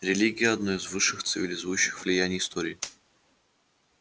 религия одно из высших цивилизующих влияний истории